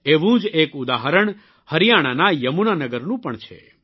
એવું જ એક ઉદાહરણ હરિયાણાના યમુનાનગરનું પણ છે